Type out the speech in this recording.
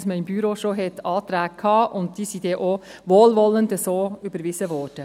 Man hatte im Büro bereits Anträge, welche denn auch wohlwollend so überwiesen wurden.